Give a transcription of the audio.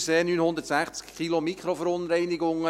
Thunersee: 960 Kilogramm Mikroverunreinigungen.